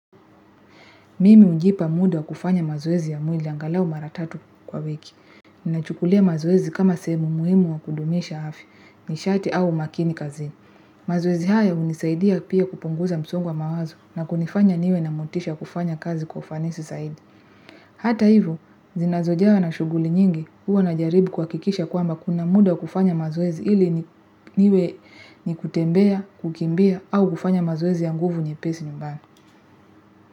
Mimi hujipa muda kufanya mazoezi ya mwili angalau mara tatu kwa wiki. Ninachukulia mazoezi kama sehemu muhimu wa kudumisha afya nishati au umakini kazini. Mazoezi hayo unisaidia pia kupunguza msongo wa mawazo na kunifanya niwe na motisha wa kufanya kazi kwa ufanisi zaidi. Hata hivyo, zinazojawa na shughuli nyingi huwa najaribu kuhakikisha kwamba kuna muda wa kufanya mazoezi ili niwe ni kutembea, kukimbia au kufanya mazoezi ya nguvu nyepesi nyumbani.